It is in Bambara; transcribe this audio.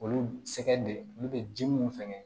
Olu sɛgɛn de olu be ji mun sɛŋɛ